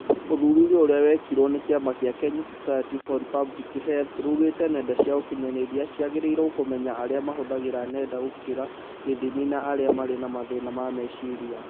Ũthuthuria ũrĩa wĩkĩtwo ni kĩama kĩa kenya society for public health rugĩte nenda cia ũkinyanĩria ciagĩrĩirwo kũmenya arĩa mahũthĩraga nenda gũkĩria gĩthimi na arĩa marĩ na mathĩna ma mecirira